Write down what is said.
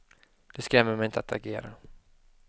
Det skrämmer mig inte att agera.